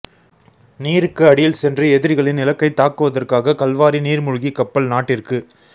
நீருக்கு அடியில் சென்று எதிரிகளின் இலக்கை தாக்குவதற்காக கல்வாரி நீர்மூழ்கிக் கப்பல் நாட்டிற்கு